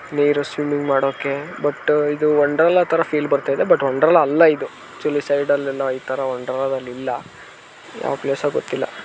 ನೀರು ಸ್ವಿಮ್ಮಿಂಗ್ ಮಾಡೋಕೆ ಬಟ್ ಇದು ವಂಡರ್ಲಾ ತರಾ ಫೀಲ್ ಬರ್ತಾ ಇದೆ ಬಟ್ ವಂಡರ್ಲಾ ಅಲ್ಲಾ ಇದು ಆಕ್ಟ್ನಲ್ಲಿ ಸೈಡ್ಲೆಲ್ಲಾ ಈತರ ವಂಡರ್ಲಾದಲ್ಲಿ ಇಲ್ಲ ಯಾವ್ ಪ್ಲೇಸೋ ಗೊತ್ತಿಲ್ಲಾ .